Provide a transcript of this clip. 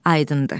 Aydındır.